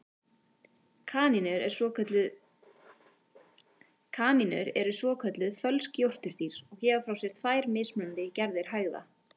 Kanínur eru svokölluð fölsk jórturdýr og gefa frá sér tvær mismunandi gerðir hægða.